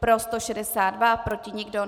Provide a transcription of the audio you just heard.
Pro 162, proti nikdo.